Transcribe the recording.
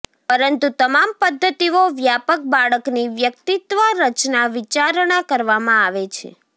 પરંતુ તમામ પદ્ધતિઓ વ્યાપક બાળકની વ્યક્તિત્વ રચના વિચારણા કરવામાં આવે છે